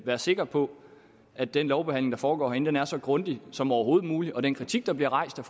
være sikre på at den lovbehandling der foregår herinde er så grundig som overhovedet muligt den kritik der bliver rejst af